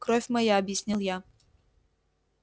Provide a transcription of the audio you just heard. кровь моя объяснил я